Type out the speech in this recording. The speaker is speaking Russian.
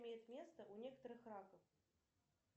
имеет место у некоторых раков